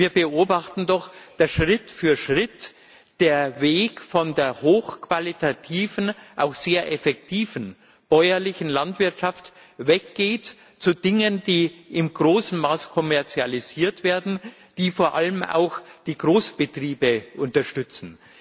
Wir beobachten doch, dass Schritt für Schritt der Weg von der hochqualitativen, auch sehr effektiven bäuerlichen Landwirtschaft weg geht zu Dingen, die im großen Maße kommerzialisiert werden, die vor allem auch die Großbetriebe unterstützen.